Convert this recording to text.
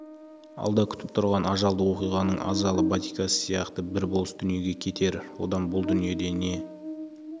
алда күтіп тұрған ажалды оқиғаның азалы батикасы сияқты бір болыс дүниеге кетер одан бұл дүниеде не